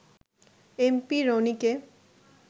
MP রনিকে